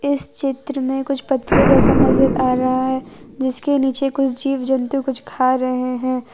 इस चित्र में कुछ पतरे जैसा नजर आ रहा है जिसके नीचे कुछ जीव जंतु कुछ खा रहे हैं।